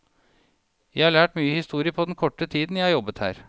Jeg har lært mye historie på den korte tiden jeg har jobbet her.